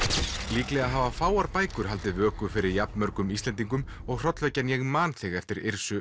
líklega hafa fáar bækur haldið vöku fyrir jafn mörgum Íslendingum og hrollvekjan ég man þig eftir